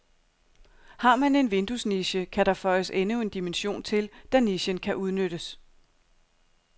Har man en vinduesniche, kan der føjes endnu en dimension til, da nichen kan udnyttes.